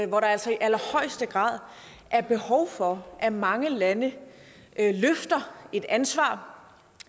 hvor der altså i allerhøjeste grad er behov for at mange lande løfter et ansvar